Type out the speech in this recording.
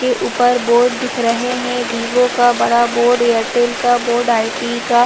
के ऊपर बोर्ड दिख रहै है विवों का बड़ा बोर्ड एयरटेल बोर्ड आईटी का --